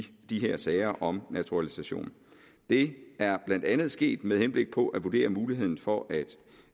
de her sager om naturalisation det er blandt andet sket med henblik på at vurdere muligheden for at